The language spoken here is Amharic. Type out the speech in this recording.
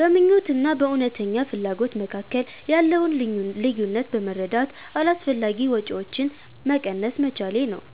በምኞት እና በእውነተኛ ፍላጎት መካከል ያለውን ልዩነት በመረዳት አላስፈላጊ ወጪዎችን መቀነስ መቻሌ ናቸው።